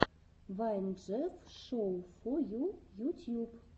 вайн джефф шоу фо ю ютьюб